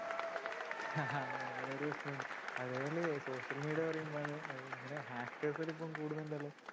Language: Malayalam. അങ്ങനെ ഒരു പ്രശ്‍നം ഉണ്ട് അതേപോലെ social media ന്നു പറയുമ്പോ അത് ഇങ്ങനെ hackers എല്ലാം ഇപ്പം കൂടുന്നുണ്ടല്ലോ